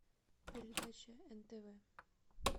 передача нтв